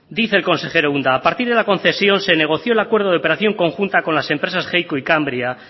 dice el consejero unda a partir de la concesión se negoció el acuerdo de operación conjunta con las empresas geico y cambria